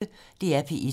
DR P1